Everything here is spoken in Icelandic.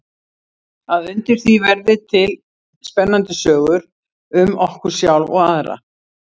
Að undir því verði til spennandi sögur um okkur sjálf og aðra.